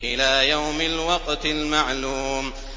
إِلَىٰ يَوْمِ الْوَقْتِ الْمَعْلُومِ